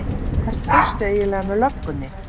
Hvert fórstu eiginlega með löggunni?